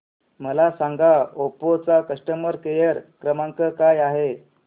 मला सांगा ओप्पो चा कस्टमर केअर क्रमांक काय आहे